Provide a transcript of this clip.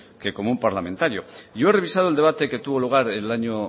que como un parlamentario yo he revisado el debate que tuvo lugar el año